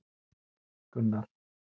Gunnar